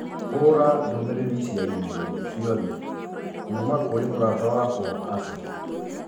hũũra ndũmĩrĩri cia i-mīrū ciothe kuuma kũrĩ mũrata wakwa Asha.